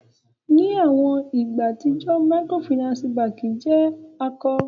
Ni awọn igba atijọ Microfinance bèbe jẹ ako.